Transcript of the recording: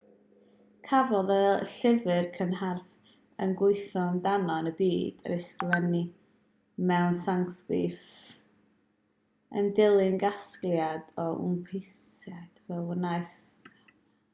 cafodd y llyfr cynharaf y gwyddom amdano yn y byd ei ysgrifennu mewn sansgrit yn dilyn casgliad o wpanisiadau fe wnaeth sansgrit ddiflannu oherwydd hierarchaeth